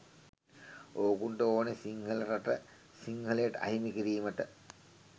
ඕකුන්ට ඕනේ “සිංහල රට සිංහලයට අහිමි කිරීමට”.